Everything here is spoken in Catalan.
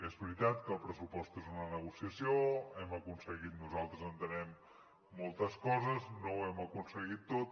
és veritat que el pressupost és una negociació hem aconseguit nosaltres entenem moltes coses no ho hem aconseguit tot